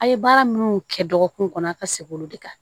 A' ye baara minnu kɛ dɔgɔkun kɔnɔ a ka segin olu de kan